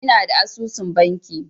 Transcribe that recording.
Ina da asusun banki.